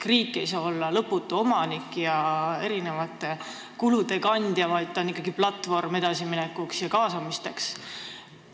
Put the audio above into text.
Riik ei saa olla lõputu omanik ja kulude kandja, vaid ta on ikkagi platvorm edasiminekuks ja kaasamiseks.